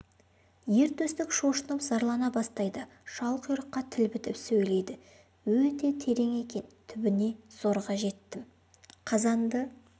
ер төстік шошынып зарлана бастайды шалқұйрыққа тіл бітіп сөйлейді өте терең екен түбіне зорға жеттім қазанды